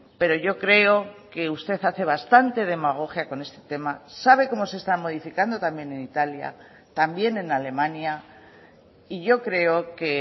pero yo creo que usted hace bastante demagogia con este tema sabe cómo se está modificando también en italia también en alemania y yo creo que